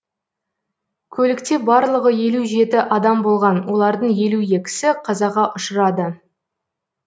көлікте барлығы елу жеті адам болған олардың елу екісі қазаға ұшырады